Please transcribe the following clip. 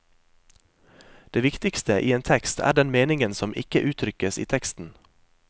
Det viktigste i en tekst er den meningen som ikke uttrykkes i teksten.